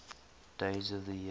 days of the year